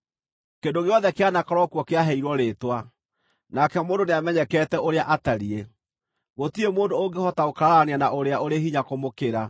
Kĩndũ gĩothe kĩanakorwo kuo kĩaheirwo rĩĩtwa, nake mũndũ nĩamenyekete ũrĩa atariĩ; gũtirĩ mũndũ ũngĩhota gũkararania na ũrĩa ũrĩ hinya kũmũkĩra.